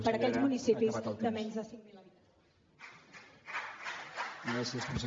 per a aquells municipis de menys de cinc mil habitants